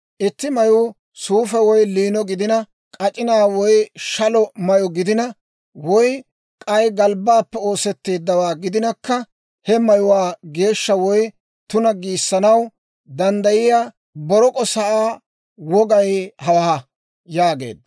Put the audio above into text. «Itti mayuu suufe woy liino gidina, k'ac'inaa woy shalo mayyo gidina, woy k'ay galbbaappe oosetteeddawaa gidinakka, he mayuwaa geeshsha woy tuna giissanaw danddayiyaa borok'o sa'aa wogay hawaa» yaageedda.